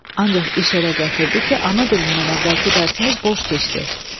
Ancaq iş elə gətirdi ki, ana dilindən əvvəlki dərsimiz boş keçdi.